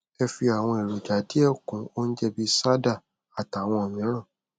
ẹ fi àwọn èròjà díẹ kún oúnjẹ bíi sádà àtàwọn mìíràn